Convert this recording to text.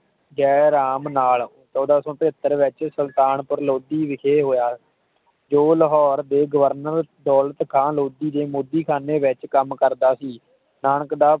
ਜੈ ਰਾਮ ਨਾਲ ਚੌਦਹ ਸੌ ਪਚੱਤਰ ਵਿਚ ਸੁਲਤਾਨਪੁਰ ਲੋਧੀ ਵਿਖੇ ਹੋਇਆ ਜੋ ਲਾਹੌਰ ਦੇ ਗਵਰਨਰ ਦੌਲਤ ਖ਼ਾਂ ਮੋਦੀ ਦੇ ਲੋਧੀ ਖ਼ਾਨੇ ਵਿਚ ਕੰਮ ਕਰਦਾ ਸੀ ਜੋ ਨਾਨਕ ਦਾ